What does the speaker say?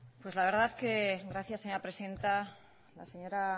pues la verdad que gracias señora presidenta la señora